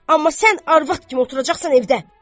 Amma sən arvad kimi oturacaqsan evdə."